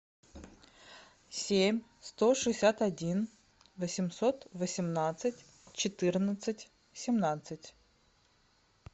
семь сто шестьдесят один восемьсот восемнадцать четырнадцать семнадцать